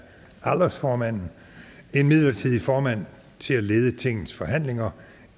aldersformanden en midlertidig formand til at lede tingets forhandlinger